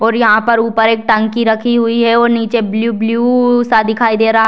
और यहां पर ऊपर एक टंकी रखी हुई है और नीचे ब्लू - ब्लू सा दिखाई दे रहा है।